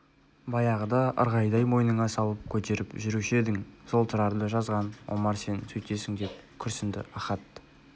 баяғыда ырғайдай мойныңа салып көтеріп жүруші едің сол тұрарды жазған омар сен сөйтесің деп күрсінді ахат